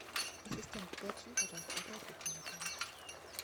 ассистент уточни пожалуйста какая кухня в отеле